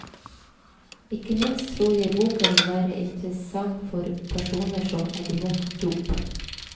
Ikke minst tror jeg boken vil være interessant for personer som er imot dop.